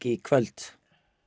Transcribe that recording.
í kvöld